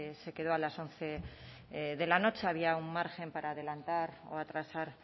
se quedó a las once de la noche había un margen para adelantar o atrasar